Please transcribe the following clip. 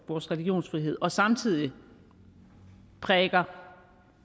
vores religionsfrihed og samtidig prædiker